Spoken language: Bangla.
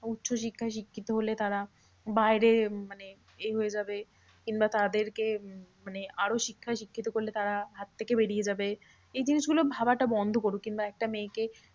উচ্চশিক্ষায় শিক্ষিত হলে তারা বাইরে মানে এই হয়ে যাবে কিংবা তাদেরকে মানে আরও শিক্ষায় শিক্ষিত করলে তারা হাত থেকে বেরিয়ে যাবে। এই জিনিসগুলো ভাবাটা বন্ধ করুক কিংবা একটা মেয়েকে